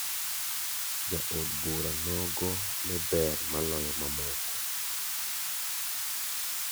Ja od bura nogo ne ber maloyo mamoko.